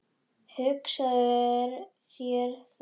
Hugsaðu þér það!